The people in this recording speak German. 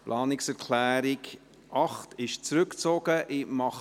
Die Planungserklärung 8 ist zurückgezogen worden.